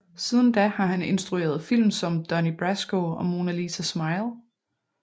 Siden da har han instrueret film som Donnie Brasco og Mona Lisa Smile